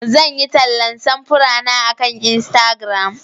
Zan yi tallan samfurana akan Instagram.